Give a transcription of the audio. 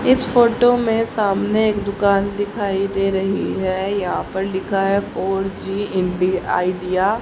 इस फोटो में सामने एक दुकान दिखाई दे रही है यहाँ पर लिखा है फोर जी_एम_डी आइडिया --